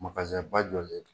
Magaba jɔlen do